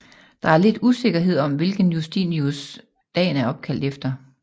Der er lidt usikkerhed om hvilken Justinus dagen er opkaldt efter